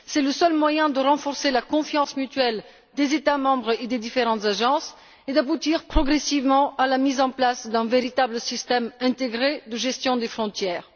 C'est le seul moyen de renforcer la confiance mutuelle entre les États membres et les différentes agences et d'aboutir progressivement à la mise en place d'un véritable système intégré de gestion des frontières.